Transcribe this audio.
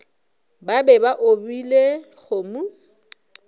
ba be ba opile kgomo